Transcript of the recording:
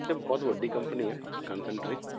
ਤੇ ਬਹੁਤ ਵੱਡੀ company ਹੈ ਕਨਸੰਟਰੀ